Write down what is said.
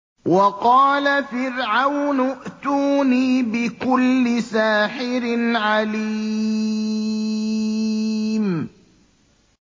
وَقَالَ فِرْعَوْنُ ائْتُونِي بِكُلِّ سَاحِرٍ عَلِيمٍ